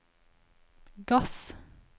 gass